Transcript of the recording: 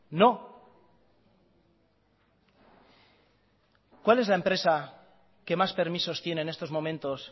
no cuál es la empresa que más permisos tiene en estos momentos